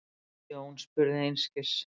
Jón spurði einskis.